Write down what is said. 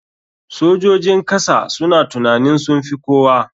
Sojojin kasa suna tunanin sunfi kowa.